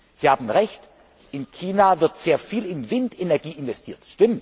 Sie haben Recht, in China wird sehr viel in Windenergie investiert.